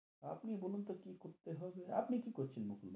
আপনি বলুন তো কি করতে হবে, আপনি কি করছেন বলুন?